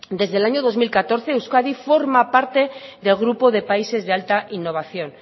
desde el año dos mil catorce euskadi forma parte de grupo de países de alta innovación